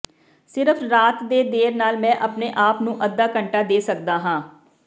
ਸਿਰਫ ਰਾਤ ਦੇ ਦੇਰ ਨਾਲ ਮੈਂ ਆਪਣੇ ਆਪ ਨੂੰ ਅੱਧਾ ਘੰਟਾ ਦੇ ਸਕਦਾ ਹਾਂ